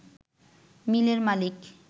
মিলের মালিক